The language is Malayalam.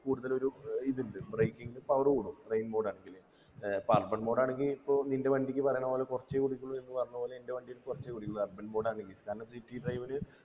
കൂടുതലൊരു ഏർ ഇത്ണ്ട് breaking നു power കൂടും rain ആണെങ്കില് ഏർ പ്പൊ urban mode ആണെങ്കി പ്പോ നിൻ്റെ വണ്ടിക്ക് പറയണ പോലെ കുറച്ചേ കുടിക്കുള്ളു എന്ന് പറഞ്ഞ പോലെ എൻ്റെ വണ്ടി കുറച്ചേ കുടിക്കുള്ളു urban mode ആണെങ്കിൽ കാരണം city drive ന്